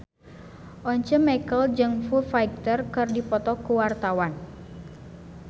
Once Mekel jeung Foo Fighter keur dipoto ku wartawan